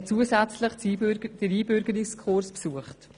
Zusätzlich hat die Person den Einbürgerungskurs besucht.